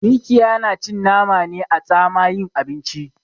Mikiya na cin nama ne a tsamayin abinci